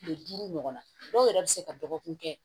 Kile duuru ɲɔgɔn na dɔw yɛrɛ bɛ se ka dɔgɔkun kɛ